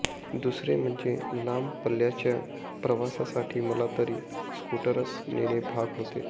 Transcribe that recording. दुसरे म्हणजे लांब पल्ल्याच्या प्रवासासाठी मला तरी स्कूटरच नेणे भाग होते